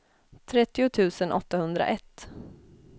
trettio tusen åttahundraett